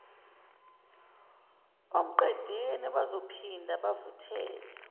omqedeni bazophinda bavuthele